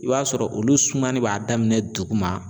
I b'a sɔrɔ olu sumani b'a daminɛ duguma